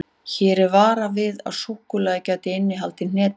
Hér er varað við að súkkulaðið gæti innihaldið hnetur.